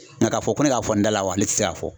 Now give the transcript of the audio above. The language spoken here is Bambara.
k'a fɔ ko ne ka fɔ n dala wa ne tɛ se k'a fɔ.